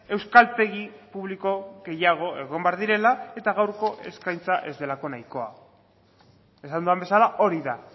euskaltegi publiko gehiago egon behar direla eta gaurko eskaintza ez delako nahikoa esan dudan bezala hori da